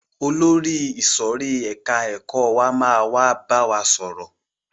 Olórí ìsòrí ẹka ẹ̀kọ́ wa máa wá bá wa sọ̀rọ̀.